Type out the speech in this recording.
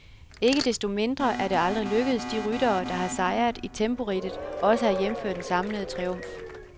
Ikke desto mindre er det aldrig lykkedes de ryttere, der har sejret i temporidtet, også at hjemføre den samlede triumf.